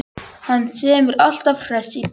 Hann sem er alltaf hress í bragði.